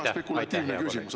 Väga spekulatiivne küsimus.